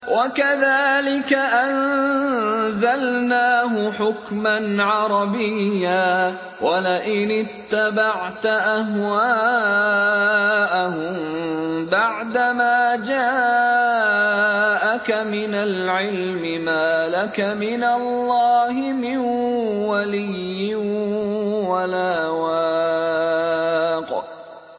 وَكَذَٰلِكَ أَنزَلْنَاهُ حُكْمًا عَرَبِيًّا ۚ وَلَئِنِ اتَّبَعْتَ أَهْوَاءَهُم بَعْدَمَا جَاءَكَ مِنَ الْعِلْمِ مَا لَكَ مِنَ اللَّهِ مِن وَلِيٍّ وَلَا وَاقٍ